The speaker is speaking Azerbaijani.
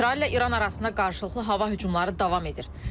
İsrail ilə İran arasında qarşılıqlı hava hücumları davam edir.